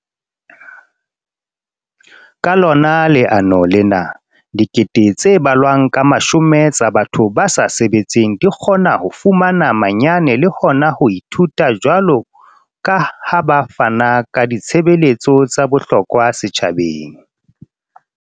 Ka lona leano lena, dikete tse balwang ka mashome tsa batho ba sa sebetseng di kgona ho fumana manyane le hona ho ithuta jwalo ka ha ba fana ka ditshebeletso tsa bohlokwa setjhabeng.